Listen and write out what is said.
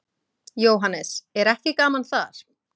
Jóhannes: Er ekki gaman þar?